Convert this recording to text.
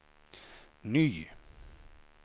ny